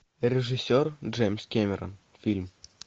режиссер джеймс кэмерон фильм